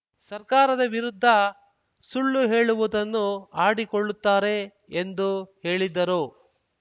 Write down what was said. ಸರ್ಕಾರದ ವಿರುದ್ಧ ಸುಳ್ಳು ಹೇಳುವುದನ್ನು ಆಡಿಕೊಳ್ಳುತ್ತಾರೆ ಎಂದು ಹೇಳಿದ್ದರು